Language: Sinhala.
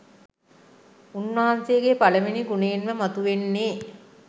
උන්වහන්සේගේ පළමුවෙනි ගුණයෙන්ම මතුවෙන්නේ.